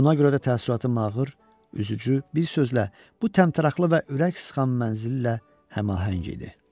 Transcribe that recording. Buna görə də təəssüratım ağır, üzücü, bir sözlə, bu təmtəraqlı və ürək sıxan mənzillə həmahəng idi.